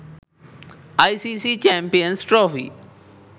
icc champions trophy